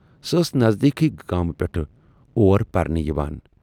سۅ ٲس نٔزدیٖکھٕے گامہٕ پٮ۪ٹھٕ اور پَرنہِ یِوان۔